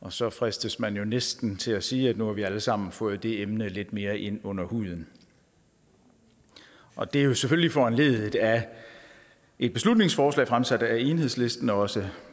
og så fristes man jo næsten til at sige at nu har vi alle sammen fået det emne lidt mere ind under huden og det er selvfølgelig foranlediget af et beslutningsforslag fremsat af enhedslisten også